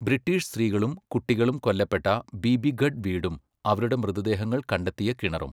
British സ്ത്രീകളും കുട്ടികളും കൊല്ലപ്പെട്ട ബീബീഗഢ് വീടും അവരുടെ മൃതദേഹങ്ങൾ കണ്ടെത്തിയ കിണറും.